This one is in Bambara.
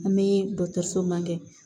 An bɛ dɔkɔtɔrɔso ma kɛ